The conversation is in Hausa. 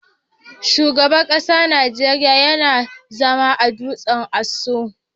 Shugaban kasan Nijeriya yana zama a dutsen Aso.